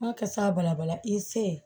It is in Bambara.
Ma kasa bala bala i se ye